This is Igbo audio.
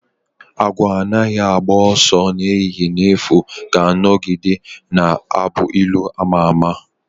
"Awọ anaghị agba ọsọ n'ehihie n'efu" ga-anọgide na-abụ ilu ama ama